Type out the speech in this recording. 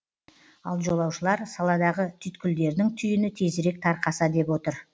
ал жолаушылар саладағы түйткілдердің түйіні тезірек тарқаса деп отыр